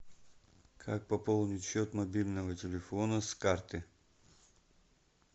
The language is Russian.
как пополнить счет мобильного телефона с карты